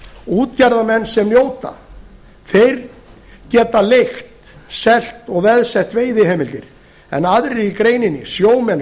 útgerðarmenn sem njóta þeir geta leigt selt og veðsett veiðiheimildir en aðrir í greininni sjómenn